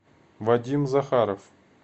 вадим захаров